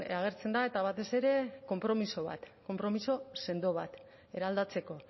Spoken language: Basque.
agertzen da eta batez ere konpromiso bat konpromiso sendo bat eraldatzeko